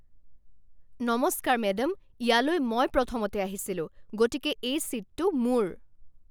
নমস্কাৰ মেডাম, ইয়ালৈ মই প্ৰথমতে আহিছিলোঁ। গতিকে এই ছীটটো মোৰ।